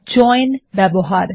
join ব্যবহার